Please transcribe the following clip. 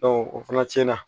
o fana tiɲɛna